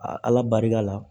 ala barika la